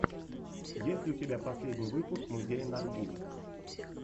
есть ли у тебя последний выпуск музея наргиз